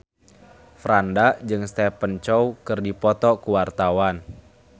Franda jeung Stephen Chow keur dipoto ku wartawan